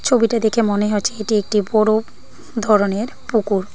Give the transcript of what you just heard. ছবিটা দেখে মনে হচ্ছে এটি একটি বড় ধরনের পুকুর।